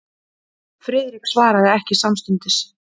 Friðrik svaraði ekki samstundis.